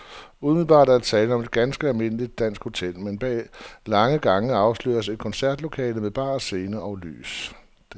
Umiddelbart er der tale om et almindeligt dansk hotel, men bag lange gange afsløres et koncertlokale med bar, scene og lys.